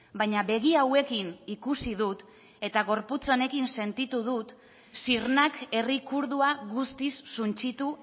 baina begi hauekin ikusi dut eta gorputz honekin sentitu dut sirnak herri kurdua guztiz suntsitu